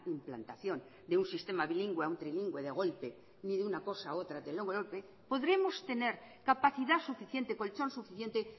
implantación de un sistema bilingüe a un trilingüe de golpe ni de una cosa a otra de golpe oodremos tener capacidad suficiente colchón suficiente